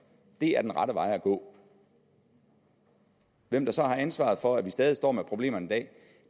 det er den rette vej at gå hvem der så har ansvaret for at vi stadig står med problemerne